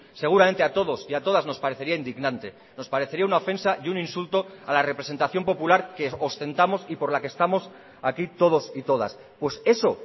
seguramente a todos y a todas nos parecería indignante nos parecería una ofensa y un insulto a la representación popular que ostentamos y por la que estamos aquí todos y todas pues eso